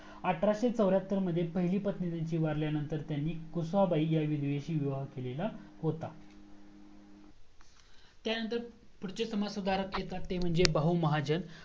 अठराशे चौर्यहत्तर मध्ये एक पहिली पत्नी त्यांची वारल्या नंतर त्यांनी कुसाबाई ह्या विधवेशी विवाह केलेला होता त्यानंतर पुढचे समाजसुधारक येतात ते म्हणजे बहुमहाजण